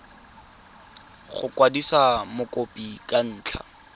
go kwadisa mokopi ka ntlha